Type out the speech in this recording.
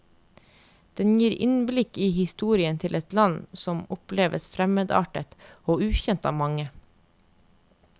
Den gir innblikk i historien til et land som oppleves fremmedartet og ukjent av mange.